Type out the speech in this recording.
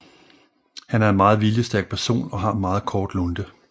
Han er en meget viljestærk person og har en meget kort lunte